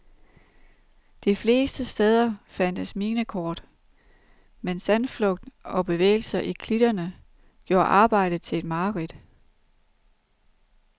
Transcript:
De fleste steder fandtes minekort, men sandflugt og bevægelser i klitterne gjorde arbejdet til et mareridt.